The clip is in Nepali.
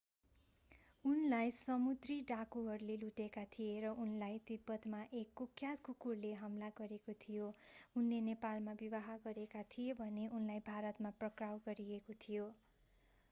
उनलाई समुद्री डाँकुहरूले लुटेका थिए र उनलाई तिब्बतमा एक कुख्यात कुकुरले हमला गरेको थियो उनले नेपालमा विवाह गरेका थिए भने उनलाई भारतमा पक्राउ गरिएको थियो